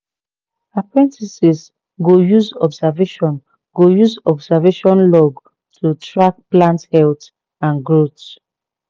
apprentices go use observation go use observation log to track plant health and growth